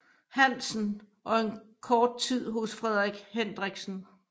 Hansen og en kort tid hos Frederik Hendriksen